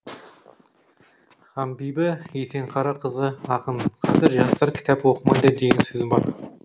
ханбибі есенқарақызы ақын қазір жастар кітап оқымайды деген сөз бар